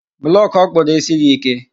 Blọkụ ọkpụrụ esighi ike.